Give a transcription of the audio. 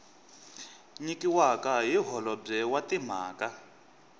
nyikiwaka hi holobye wa timhaka